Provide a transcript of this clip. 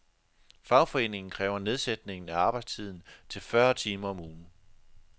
Fagforeningen kræver nedsættelse af arbejdstiden til fyrre timer om ugen.